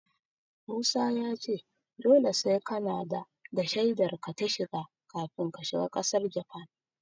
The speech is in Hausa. Musa ya ce dole sai kanada da shaidar ka ta shiga kafin ka shiga ƙasar Japan.